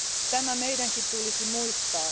Tämä meidänkin tulisi muistaa.